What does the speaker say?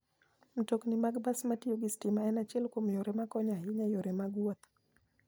Mtokni mag bas matiyo gi stima en achiel kuom yore ma konyo ahinya e yore mag wuoth.